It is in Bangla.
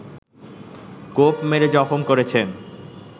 কোপ মেরে জখম করেছেন